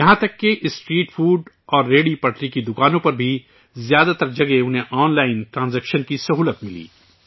یہاں تک کہ اسٹریٹ فوڈ اور ریہڑی پٹری کی دکانوں پر بھی زیادہ تر جگہ انہیں آن لائن ٹرانزیکشن کی سہولت ملی